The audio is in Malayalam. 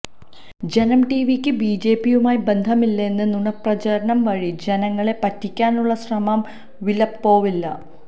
ജനം ടിവിക്ക് ബിജെപിയുമായി ബന്ധമില്ലെന്ന നുണപ്രചാരണം വഴി ജനങ്ങളെ പറ്റിക്കാനുള്ള ശ്രമം വിലപ്പോവില്ല